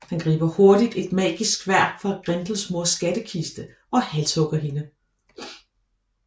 Han griber hurtigt et magisk sværd fra Grendels mors skattekiste og halshugger hende